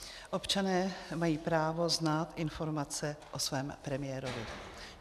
Občané mají právo znát informace o svém premiérovi.